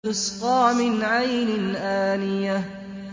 تُسْقَىٰ مِنْ عَيْنٍ آنِيَةٍ